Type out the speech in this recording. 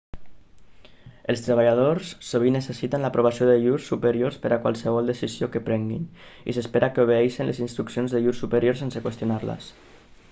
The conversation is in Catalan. els treballadors sovint necessiten l'aprovació de llurs superiors per a qualsevol decisió que prenguin i s'espera que obeeixin les instruccions de llurs superiors sense qüestionar-les